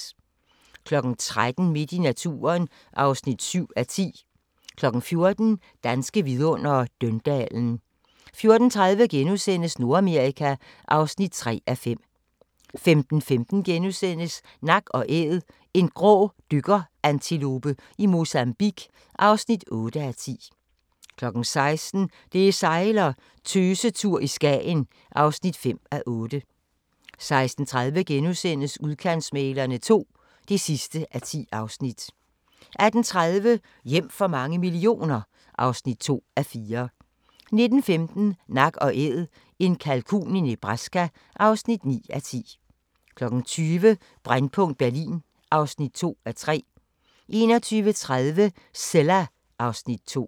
13:00: Midt i naturen (7:10) 14:00: Danske Vidundere: Døndalen 14:30: Nordamerika (3:5)* 15:15: Nak & Æd – en grå dykkerantilope i Mozambique (8:10)* 16:00: Det sejler - Tøsetur i Skagen (5:8) 16:30: Udkantsmæglerne II (10:10)* 18:30: Hjem for mange millioner (2:4) 19:15: Nak & Æd – en kalkun i Nebraska (9:10) 20:00: Brændpunkt Berlin (2:3) 21:30: Cilla (Afs. 2)